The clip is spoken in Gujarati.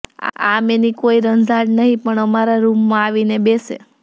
આમ એની કોઈ રંઝાડ નહિ પણ અમારા રૂમમાં આવીને બેસે